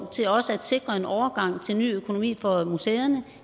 til også at sikre en overgang til ny økonomi for museerne